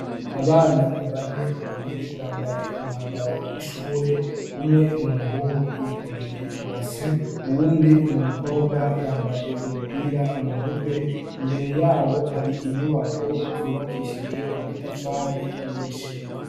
Abana bane babiri bambaye umwambaro w'ishure, umwe n'umuhungu yikoreye base, uwundi numukobwa yambaye umupira mu mutwe imbere yabo hari inyubako zubakishijwe amatafari nyinshi.